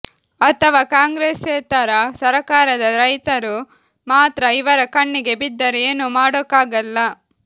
ಅಥವಾ ಕಾಂಗ್ರೆಸ್ಸೇತರ ಸರಕಾರದ ರೈತರು ಮಾತ್ರ ಇವರ ಕಣ್ಣಿಗೆ ಬಿದ್ದರೆ ಏನೂ ಮಾಡೋಕಾಗಲ್ಲ